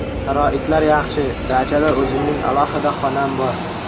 Sharoitlar yaxshi, dachada o‘zimning alohida xonam bor.